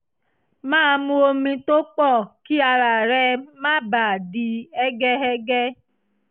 máa mu omi tó pọ̀ kí ara rẹ má bàa di hẹ́gẹhẹ̀gẹ